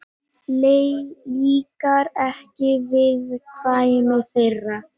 Líkar ekki viðkvæmni þeirra.